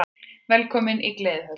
Velkomin í Gleðihöllina!